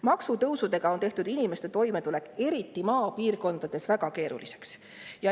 Maksutõusudega on tehtud inimeste toimetulek, eriti maapiirkondades, väga keeruliseks.